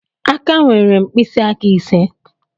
Aka nwere mpisiaka ise